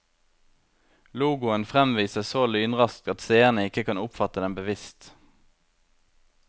Logoen fremvises så lynraskt at seerne ikke kan oppfatte den bevisst.